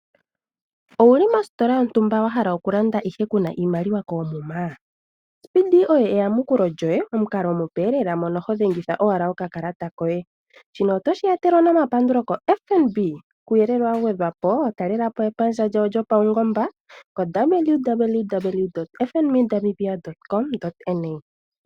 Owuli mositola yontumba wa hala oku landa ihe kuna iimaliwa koomuma .Fnb oye eyamukulo lyoye omukalo omupe mono ho dhengitha owala okakalata koye . Shino otoshi etelelwa no mapandulo ko Fnb kuuyelele wa gwedhwapo talelapo epandja lyawo lyo pawungomba ko www.fnb namibia.na